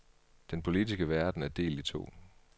Den politiske verden er delt i to.